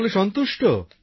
সকলে সন্তুষ্ট